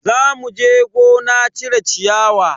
Za muje gona cire ciyawa.